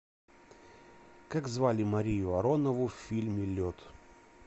как звали марию аронову в фильме лед